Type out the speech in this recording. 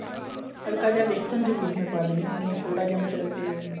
ਹਲਕਾ ਜਾ ਵੇਸਨ ਜਰੂਰ ਮੈਂ ਪਾ ਦਿਨੀ ਹੁੰਨੀ ਆ ਥੋੜਾ ਜਾ ਮਤਲਬ ਕੇ